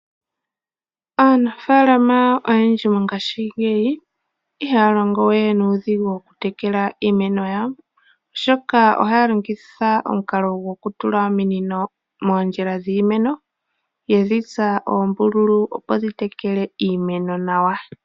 Aanafaalama oyendji mongashingeyi ihaya longo we nuudhigi okutekela iimeno yawo, oshoka ohaya longitha omukalo gwokutula ominino moondjila dhiimeno yedhi tsa oombululu opo dhitekele iimeno nawa.